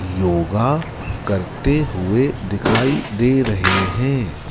योगा करते हुए दिखाई दे रहे हैं।